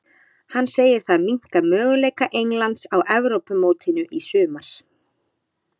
Hann segir það minnka möguleika Englands á Evrópumótinu í sumar.